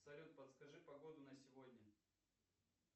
салют подскажи погоду на сегодня